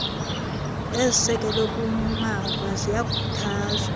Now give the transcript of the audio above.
ezisekelwe kumava ziyakhuthazwa